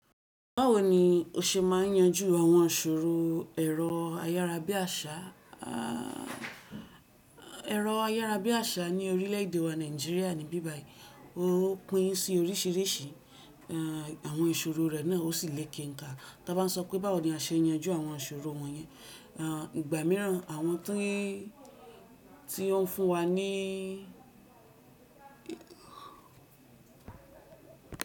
Báwo ni o ṣe máa ń yanjú àwọn ìṣòro ẹ̀rọ ayárabíàṣà, ẹ̀rọ ayárabíàṣà ní orílẹ̀èdè wa Nàìjíríà níbí báyìí ó pín sí oríṣìíríṣìí, àwọn ìṣòro rẹ̀ náà ó sì le keǹkà. Ta bá m sọ pé báwo ni a ṣe ń yanjú àwọn ìṣòro wọ̀nyẹn, ìgbà míràn àwọn tí, tí ó ń fún wa ní.